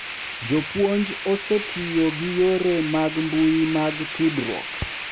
Jopuonj osetiyo gi yore mag mbui mag tudruok